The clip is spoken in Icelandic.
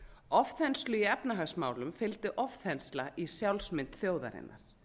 ofþenslu í efnahagsmálum fylgdi ofþensla í sjálfsmynd þjóðarinnar